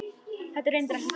Þetta er reyndar ekkert nýtt.